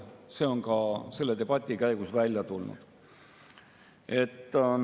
See on ka selle debati käigus välja tulnud.